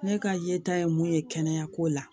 Ne ka yeta ye mun ye kɛnɛya ko la